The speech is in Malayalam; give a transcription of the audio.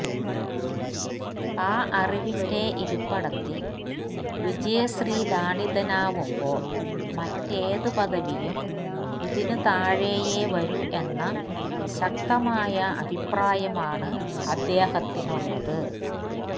ആ അറിവിന്റെ ഇരിപ്പിടത്തില് വിജയശ്രീലാളിതനാവുമ്പോള് മറ്റേത് പദവിയും ഇതിന് താഴെയേ വരൂ എന്ന ശക്തമായ അഭിപ്രായമാണ് അദ്ദേഹത്തിനുളളത്